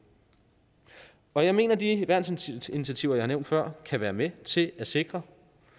og jeg mener at de værnsinitiativer jeg nævnte før kan være med til at sikre